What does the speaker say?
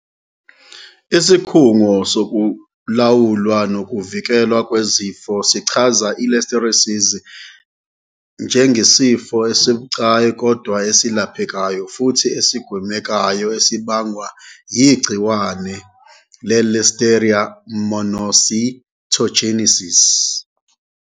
Isikhungo Sokulawulwa Nokuvikelwa Kwezifo sichaze i-Listeriosis njengesifo esibucayi kodwa esilaphe kayo futhi esigwemekayo esibangwa yigciwane le-Listeria monocytogenes.